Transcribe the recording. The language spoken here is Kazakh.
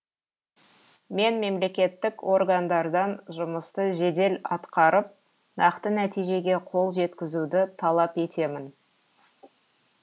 мен мемлекеттік органдардан жұмысты жедел атқарып нақты нәтижеге қол жеткізуді талап етемін